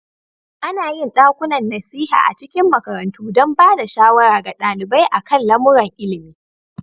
Ana yin ɗakunan nasiha a cikin makarantu don ba da shawara ga ɗalibai a kan lamuran ilimi.